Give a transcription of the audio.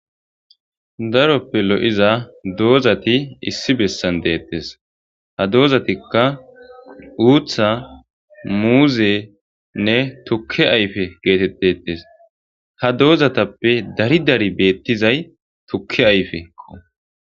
Daroppe lo7iza doozati issi bessan deettes ha doozatikka uutha muuzenne tukke ayfe geetettetes ha doozatappe dari dari beettizay tukke ayfekko.